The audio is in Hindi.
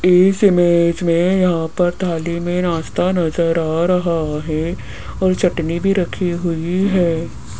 इस इमेज में यहां पर थाली में नास्ता नजर आ रहा है और चटनी भी रखी हुई है।